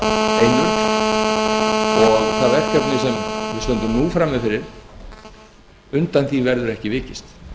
af einurð og undan því verkefni sem við stöndum nú frammi fyrir verður ekki vikist